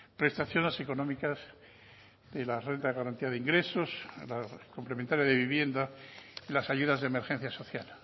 prestaciones económicas de la renta de garantía de ingresos la complementaria de vivienda y las ayudas de emergencia social